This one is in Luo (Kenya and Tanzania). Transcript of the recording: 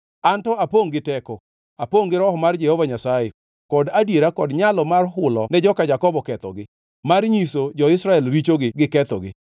An to apongʼ gi teko, apongʼ gi Roho mar Jehova Nyasaye, kod adiera kod nyalo mar hulo ne joka Jakobo kethogi, mar nyiso jo-Israel richogi gi kethogi.